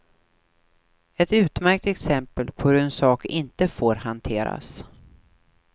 Ett utmärkt exempel på hur en sak inte får hanteras.